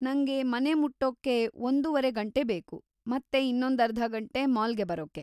ನಂಗೆ ಮನೆ ಮುಟ್ಟೂಕ್ಕೆ ಒಂದೂವರೆ ಗಂಟೆ ಬೇಕು ಮತ್ತೆ ಇನ್ನೊಂದರ್ಧ ಗಂಟೆ ಮಾಲ್ಗೆ ಬರೋಕ್ಕೆ.